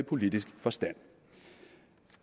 politisk forstand